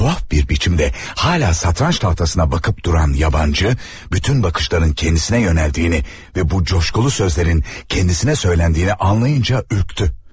Tuhaf bir biçimde hala satranç tahtasına bakıp duran yabancı bütün bakışların kendisine yönəldiyini ve bu coşkulu sözlerin kendisine söyləndiyini anlayınca ürktü.